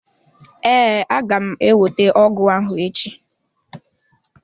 Ee, aga m ewete ọgụ ahụ echi.